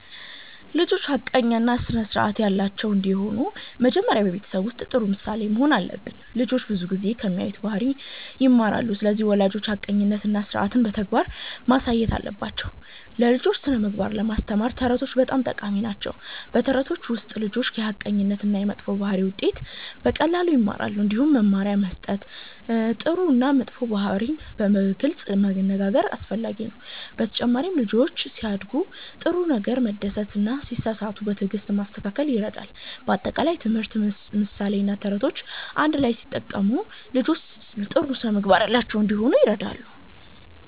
ልጆች ሐቀኛ እና ስርዓት ያላቸው እንዲሆኑ መጀመሪያ በቤተሰብ ውስጥ ጥሩ ምሳሌ መሆን አለብን። ልጆች ብዙ ጊዜ ከሚያዩት ባህሪ ይማራሉ። ስለዚህ ወላጆች ሐቀኝነትን እና ስርዓትን በተግባር ማሳየት አለባቸው። ለልጆች ስነ-ምግባር ለማስተማር ተረቶች በጣም ጠቃሚ ናቸው። በተረቶች ውስጥ ልጆች የሐቀኝነት እና የመጥፎ ባህሪ ውጤት በቀላሉ ይማራሉ። እንዲሁም መመሪያ መስጠት፣ ጥሩ እና መጥፎ ባህሪን በግልጽ መነጋገር አስፈላጊ ነው። በተጨማሪም ልጆችን ሲያደርጉ ጥሩ ነገር መደሰት እና ሲሳሳቱ በትዕግስት ማስተካከል ይረዳል። በአጠቃላይ ትምህርት፣ ምሳሌ እና ተረቶች አንድ ላይ ሲጠቀሙ ልጆች ጥሩ ስነ-ምግባር ያላቸው እንዲሆኑ ይረዳል።